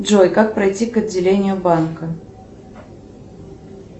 джой как пройти к отделению банка